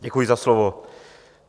Děkuji za slovo.